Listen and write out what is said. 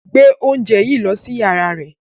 Gbe oúnjẹ yìí lọ sí yàrá rẹ̀